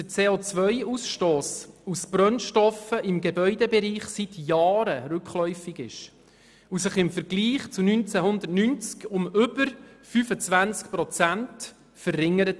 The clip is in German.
Der CO-Ausstoss aus Brennstoffen im Gebäudebereich ist seit Jahren rückläufig und hat sich im Vergleich zum Jahr 1990 um über 25 Prozent verringert.